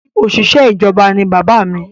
Òṣìṣẹ́ ìjọba ní bàbá mí